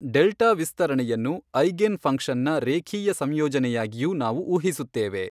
Delta ವಿಸ್ತರಣೆಯನ್ನು eigen function ನ ರೇಖೀಯ ಸಂಯೋಜನೆಯಾಗಿಯೂ ನಾವು ಊಹಿಸುತ್ತೇವೆ.